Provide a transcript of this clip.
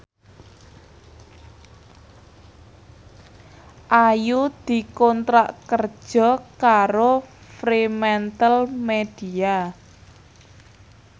Ayu dikontrak kerja karo Fremantlemedia